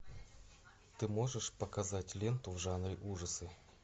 ты можешь показать ленту в жанре ужасы